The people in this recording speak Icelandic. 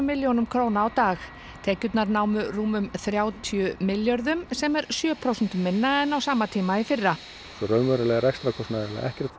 milljónum króna á dag tekjurnar námu rúmum þrjátíu milljörðum sem er sjö prósentum minna en á sama tíma í fyrra svo raunverulega er rekstrarkostnaður